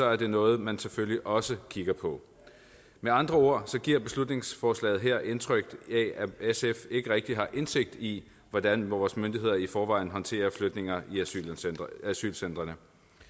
er det noget man selvfølgelig også kigger på med andre ord giver beslutningsforslaget her indtryk af at sf ikke rigtig har indsigt i hvordan vores myndigheder i forvejen håndterer flytninger i asylcentrene